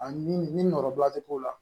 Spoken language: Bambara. Ani ni nɔrɔla bɛ k'o la